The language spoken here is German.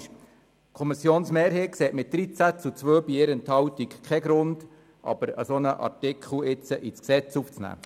Die Kommissionsmehrheit sieht mit 13 zu 2 Stimmen bei 1 Enthaltung keinen Grund, einen solchen Artikel ins Gesetz aufzunehmen.